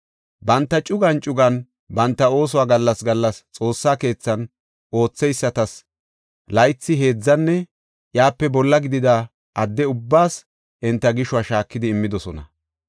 Banta cugan cugan banta oosuwa gallas gallas Xoossa keethan ootheysatas laythi, heedzanne iyape bolla gidida adde ubbaas enta gishuwa shaakidi immidosona.